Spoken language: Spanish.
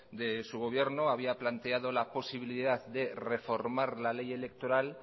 de su gobierno había planteado la posibilidad de reformar la ley electoral